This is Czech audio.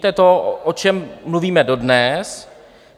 To je to, o čem mluvíme dodnes.